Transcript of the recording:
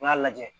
N y'a lajɛ